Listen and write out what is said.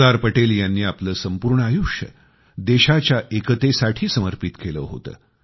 सरदार पटेल यांनी आपले संपूर्ण आयुष्य देशाच्या एकतेसाठी समर्पित केले होते